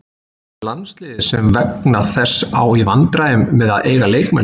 Hvað um landsliðið sem vegna þess á í vandræðum með að eiga leikmenn?